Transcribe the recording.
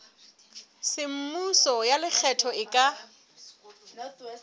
semmuso ya lekgetho e ka